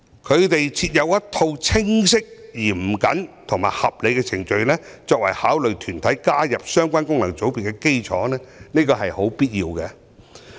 他們設有一套清晰、嚴謹和合理的程序，作為考慮團體加入相關功能界別的基礎，這是必要的。